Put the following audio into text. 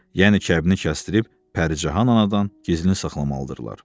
Yəni kəbni kəsdirib Pəricahan anadan gizlin saxlamalıdırlar.